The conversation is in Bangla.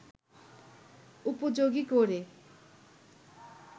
উপযোগী করে